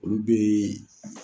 Olu bɛ